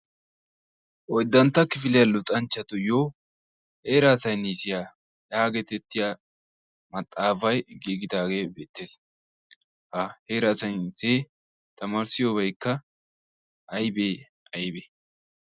oyddantta kifiliyaa luxanchchatuyoo heeraa saynisiyaa maxaafay ggigidaage beettees. heraa saynisiyee tamarissiyoobaykka aybee aybee?